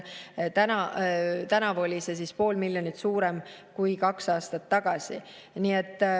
Tänavu oli see poole miljoni võrra suurem kui kaks aastat tagasi.